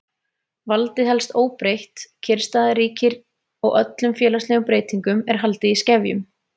Valdið helst óbreytt, kyrrstaða ríkir og öllum félagslegum breytingum er haldið í skefjum.